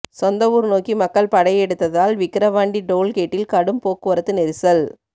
சொந்த ஊர் நோக்கி மக்கள் படையெடுத்ததால் விக்கிரவாண்டி டோல்கேட்டில் கடும் போக்குவரத்து நெரிசல்